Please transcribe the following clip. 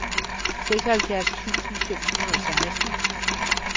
seksoghalvfjerds tusind fem hundrede og seksten